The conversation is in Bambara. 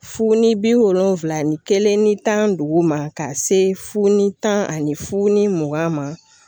Fu ni bi wolonlonfila ni kelen ni tan ni duuru ma ka se funu tan ani fu ni mugan ma.